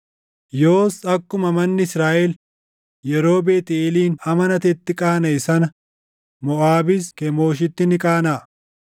“Yoos akkuma manni Israaʼel yeroo Beetʼeelin amanatetti qaanaʼe sana Moʼaabis Kemooshitti ni qaanaʼa.